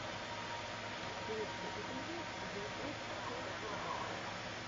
лучший эпизод зе од фестс аут